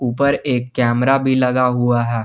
उपर एक कैमरा भी लगा हुआ है।